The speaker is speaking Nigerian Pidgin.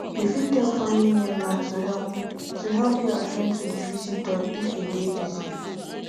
you fit tell family member to help to help you at ten d to the visitor if you dey busy